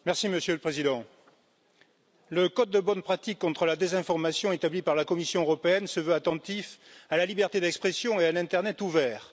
Monsieur le Président, le code de bonnes pratiques contre la désinformation établi par la Commission se veut attentif à la liberté d'expression et à un internet ouvert.